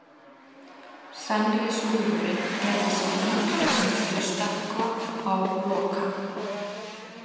Fenrisúlfurinn gerði sig líklegan til að stökkva á Loka.